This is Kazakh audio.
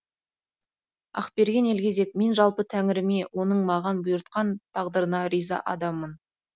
ақберен елгезек мен жалпы тәңіріме оның маған бұйыртқан тағдырына риза адаммын